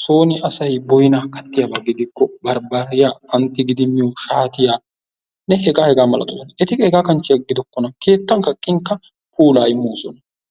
sooni asay boyinaa katyiyaba gidikko barbariya an tigidi miyo shaatiyanne hegaanne hegaa milatiyabata. eti qa hegaa xalla gidikkona; keettan kaqqinkka puulaa immoosona.